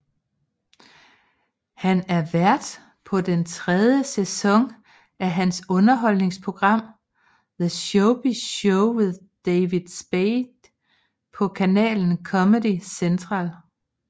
Han er vært på den tredje sæson af hans underholdningsprogram The Showbiz Show with David Spade på kanalen Comedy Central